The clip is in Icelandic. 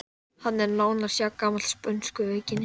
Kynlíf snýst ekki aðeins um hormónastarfsemi.